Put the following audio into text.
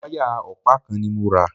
Wáyà ọ̀pá kan ni mo rà.